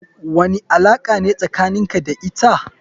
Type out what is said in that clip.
Wani alaka ne tsakanin ka da ita.